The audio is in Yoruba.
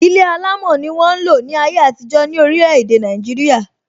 Ilé alámò ni won n lo ni aye atijọ ni orile ede naijiria.